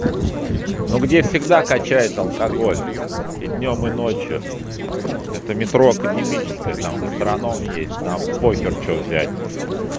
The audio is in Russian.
ну где всегда качает алкоголь и днём и ночью это метро академическая там гастроном есть там похер что взять